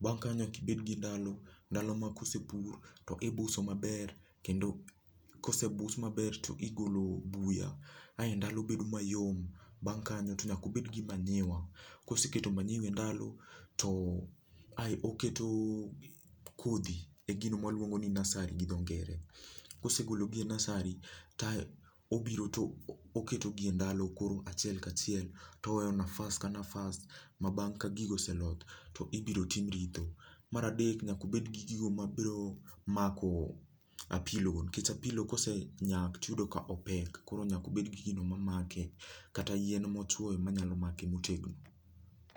Bang' kanyo nyaka ibed gi ndalo, ndalo ma ka osepur to ibuso maber kendo ka osebus maber to igol buya ae ndalo bedo mayom. Bang' kanyo to nyaka obed gi manyiwa, koseketo manyiwa e ndalo ae oketo kodhi e gino ma waluongo ni nursery gi dho ngere, kosegolo gi e nursery ae obiro to oketogi endalo koro achiel ka achiel to oweyo nafas ka nafas ma bang' ka gigo oseloth, to ibiro tim ritho. Mar adek nyaka ubed gi gigo mabiro mako apilogo nikech apilo ka osenyak to uyudo kan opek koro nyaka ubed gigino mamake.